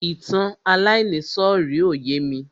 Ìtàn aláìníìsọ̀rí ò yémi.